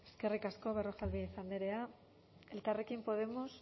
eskerrik asko berrojalbiz andrea elkarrekin podemos